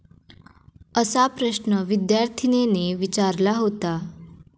असा प्रश्न विद्यार्थीनेने विचारला होता.